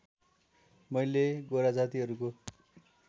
मैले गोरा जातीहरूको